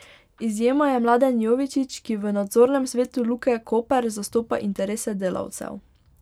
Izjema je Mladen Jovičić, ki v nadzornem svetu Luke Koper zastopa interese delavcev.